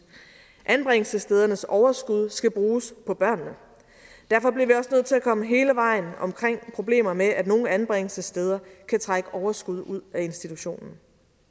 anbringelsesstedernes overskud skal bruges på børnene derfor bliver vi også nødt til at komme hele vejen omkring problemer med at nogle anbringelsessteder kan trække overskud ud af institutionen